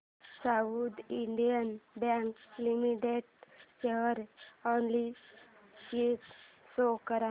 south Indian Bank Limited share analysis show कर